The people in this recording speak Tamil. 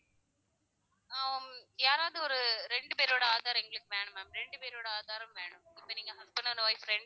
ஆஹ் ஹம் யாராவது ஒரு ரெண்டு பேரோட aadhar எங்களுக்கு வேணும் ma'am ரெண்டு பேரோட aadhar உம் வேணும் இப்ப நீங்க husband and wife ரெண்டு